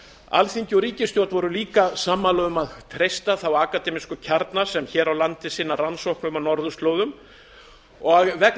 alþingi og ríkisstjórn voru líka sammála um að treysta þá akademísku kjarna sem hér á landi sinna rannsóknum á norðurslóðum vegna þess að